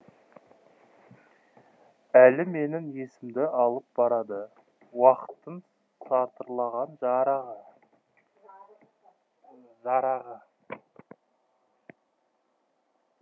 әлі менің есемді алып барады уақыттың сатырлаған жарағы